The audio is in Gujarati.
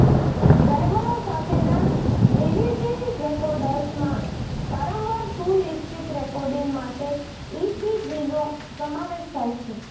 ડ્રાઈવરો સાથેના ડીવીડી રેકોર્ડર્સમાં વારંવાર સુનિશ્ચિત રેકોર્ડિંગ માટે ઇપીજીનો સમાવેશ થાય છે